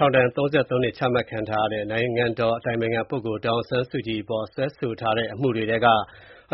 ထောင်ဒဏ် ၃၃ နှစ်ချမှတ်ခံထားရတဲ့ နိုင်ငံတော်အတိုင်ပင်ခံပုဂ္ဂိုလ် ဒေါ်အောင်ဆန်းစုကြည်အပေါ် စွဲဆိုထားတဲ့ အမှုတွေထဲက